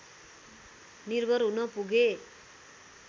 निर्भर हुन पुगे